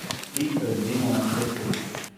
Tik pred zimo na cesti?